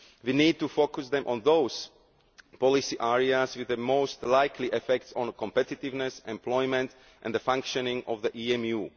We need to focus them on those policy areas with the most likely effects on competitiveness, employment and the functioning of the EMU.